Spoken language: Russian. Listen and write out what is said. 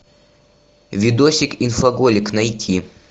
видосик инфоголик найти